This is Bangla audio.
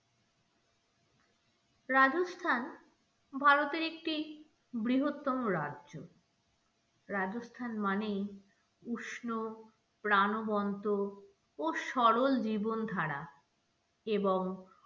রাজস্থান ভারতের একটি বৃহত্তম রাজ্য রাজস্থান মানেই উষ্ণ প্রানবন্ত ও সরল জীবন ধারা এবং,